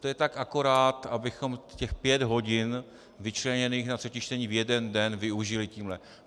To je tak akorát, abychom těch pět hodin vyčleněných na třetí čtení v jeden den využili tímhle.